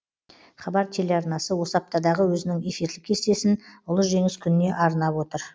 хабар телеарнасы осы аптадағы өзінің эфирлік кестесін ұлы жеңіс күніне арнап отыр